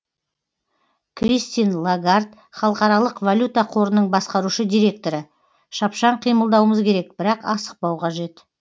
кристин лагард халықаралық валюта қорының басқарушы директоры шапшаң қимылдауымыз керек бірақ асықпау қажет